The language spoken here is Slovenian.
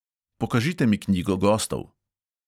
Pokažite mi knjigo gostov!